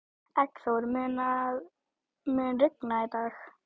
Eggþór, mun rigna í dag?